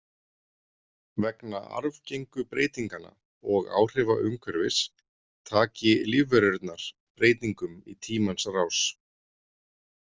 Vegna arfgengu breytinganna og áhrifa umhverfis taki lífverurnar breytingum í tímans rás.